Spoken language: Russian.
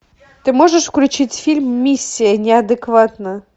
ты можешь включить фильм миссия неадекватна